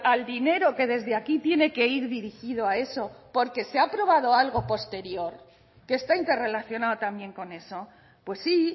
al dinero que desde aquí tiene que ir dirigido a eso porque se ha aprobado algo posterior que esta interrelacionado también con eso pues sí